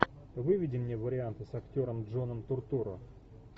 выведи мне варианты с актером джоном туртурро